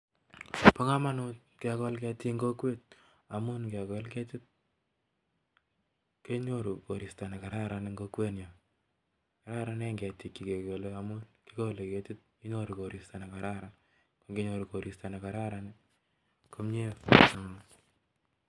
Pa.kamanut kekol ketot Eng kokwet amun. ngekol. ketit kenyoru koristo negararan pa kamanut kekol ketik chechang